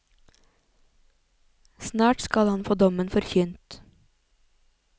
Snart skal han få dommen forkynt.